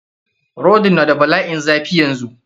Rodin n da bala'in zafi yanzu.